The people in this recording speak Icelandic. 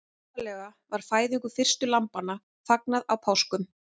Upphaflega var fæðingu fyrstu lambanna fagnað á páskum.